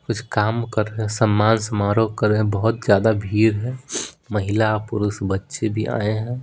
कुछ काम कर रहे है सम्मान समारोह कर रहे है बहोत ज्यादा भीड़ है महिला पुरुष बच्चे भी आए है।